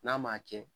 N'a ma kɛ